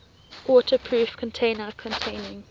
waterproof container containing